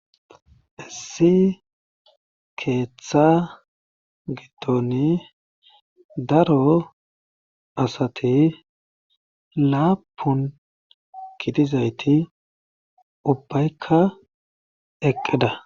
Issi keeththa gitoni daro asati laapun gidizayti ubbaykka eqqeda.